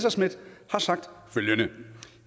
har sagt at